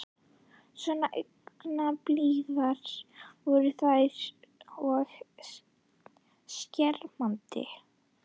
Svo angurblíðar voru þær og skerandi.